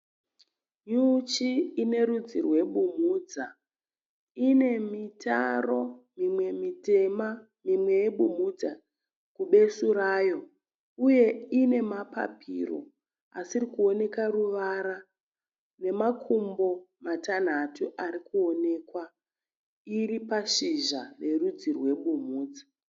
Nyuchi ine rudzi rwebumhudza. Ine mitero mimwe mitema mimwe yebumumhudza kubesu rayo. Uye ine mapapiro asiri kuonekwa ruvara nemakumbo matanhatu ari kuonekwa. Iri pashizha rerudzi rwebumhudza.